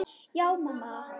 Já, mamma.